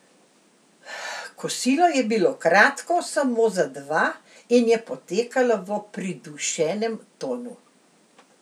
Kosilo je bilo kratko, samo za dva, in je potekalo v pridušenem tonu.